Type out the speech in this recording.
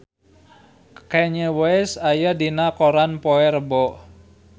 Kanye West aya dina koran poe Rebo